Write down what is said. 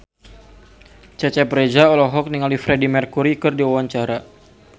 Cecep Reza olohok ningali Freedie Mercury keur diwawancara